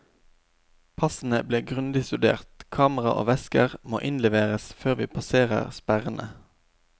Passene blir grundig studert, kamera og vesker måinnleveres før vi passerer sperrene.